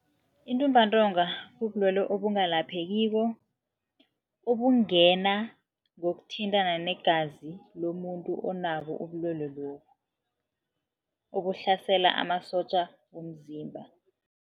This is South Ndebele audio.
Intumbantonga kubulwelwe obungalaphekiko obungena ngokuthintana negazi lomuntu onabo ubulwelwe lobu, obuhlasela amasotja womzimba.